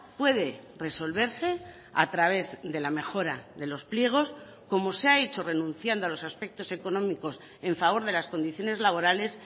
puede resolverse a través de la mejora de los pliegos como se ha hecho renunciando a los aspectos económicos en favor de las condiciones laborales